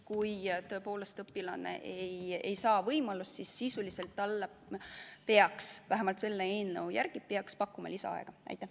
Kui tõepoolest õpilane ei saa võimalust eksam kohe sooritada, siis sisuliselt talle peaks vähemalt selle eelnõu järgi pakkuma selleks lisaaja.